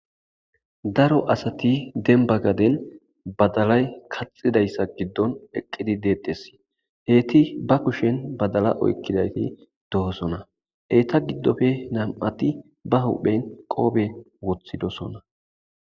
daro asati denbagaden badalay kaxidayssa giddon eqqidi deeddes heyti ba kushen badala oykkidayti dohosona eeta giddofe nam7ati ba huhphen qoobe wothidosona